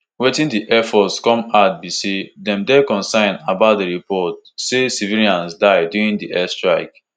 wetin di air force come add be say dem dey concerned about di report say civilians die during di airstrike